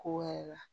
Ko wɛrɛ la